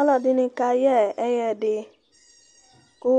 ɔlɔdini ka yɛ ɛyɛdi , ku